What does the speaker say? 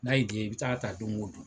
N'a y'i diyɛ i bi taa ta don o don